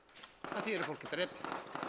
það þýðir að fólk er drepið